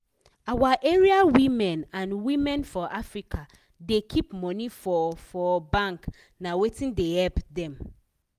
our area women and women for africa da keep money for for bank na wetin da help dem